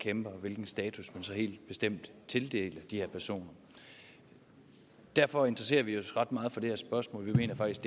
kæmper og hvilken status man så helt bestemt tildeler de her personer derfor interesserer vi os ret meget for det her spørgsmål vi mener faktisk